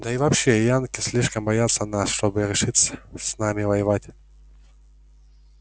да и вообще янки слишком боятся нас чтобы решиться с нами воевать